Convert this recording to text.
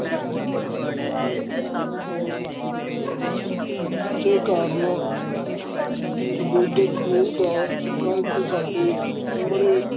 ਇਸੇ ਕਾਰਨ ਸਮੁੱਜੇ ਸਮੂਹ ਦਾ ਸੰਕਲਪ ਸਾਡੇ ਸਾਮਨੇ